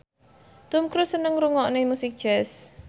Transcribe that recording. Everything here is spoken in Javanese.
Tom Cruise seneng ngrungokne musik jazz